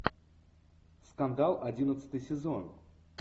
скандал одиннадцатый сезон